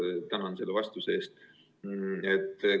Ma tänan selle vastuse eest!